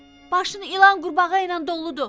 Başın ilan, qurbağa ilə doludur.